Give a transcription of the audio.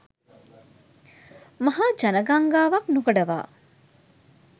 මහා ජනගංගාවක් නොකඩවා